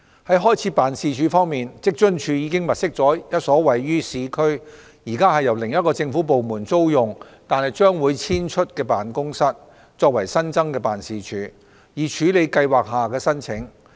在開設辦事處方面，職津處已物色一所位於市區，現時由另一政府部門租用但將會遷出的辦公室，作為新增辦事處，以處理計劃下的申請。